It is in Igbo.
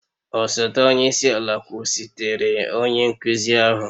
Osote onye isi ala kwụsịtụrụ onye nkuzi ahụ